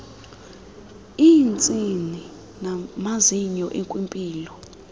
iintsini namazinyo ekwimpilo